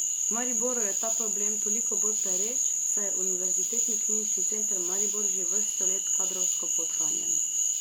V Mariboru je ta problem toliko bolj pereč, saj je Univerzitetni klinični center Maribor že vrsto let kadrovsko podhranjen.